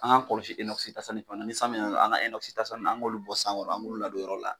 An k'an kɔlɔsi enɔkisi tase ni fana ni san me an ka enɔkisi tasa nunnu an k'olu bɔ san kɔrɔ an k'olu ladon yɔrɔ la